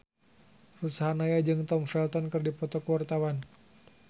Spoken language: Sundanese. Ruth Sahanaya jeung Tom Felton keur dipoto ku wartawan